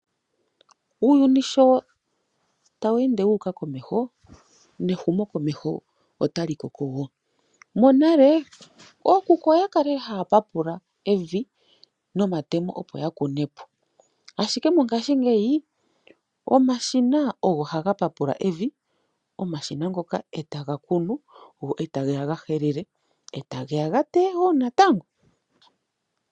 Uuyuni sho tawu ende wu uka komeho, nehumokomeho otali koko wo. Monale ookuku oya kalele haya papula evi nomatemo opo ya kune po. Ashike mongashingeyi omashina ogo haga papula evi, omashina ngoka e taga kunu, e tage ya ga helele, e tage ya ga teye qo natango.